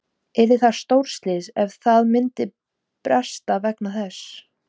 Yrði það stórslys ef að það myndi bresta vegna þessa?